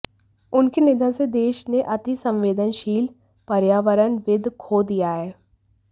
उनके निधन से देश ने अति संवेदनशील पर्यावरणविद् खो दिया है